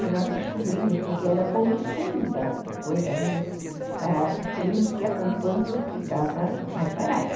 E nós descobrimos, porque era o comecinho da da coisa ainda, descobrimos que acampando ficava mais barato.